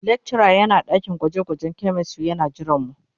Lecturer yana dakin gwaje-gwajen chemistry yana jiranmu.